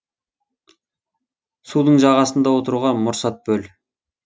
судың жағасында отыруға мұрсат бөл